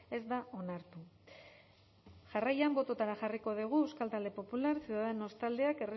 ez da onartu jarraian botoetara jarriko dugu euskal talde popular ciudadanos taldeak